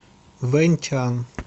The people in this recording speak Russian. вэньчан